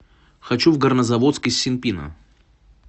хочу в горнозаводск из синпина